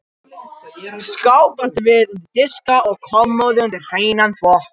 Skáp áttum við undir diska og kommóðu undir hreinan þvott.